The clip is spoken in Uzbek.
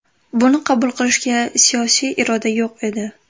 Buni qabul qilishga siyosiy iroda yo‘q edi.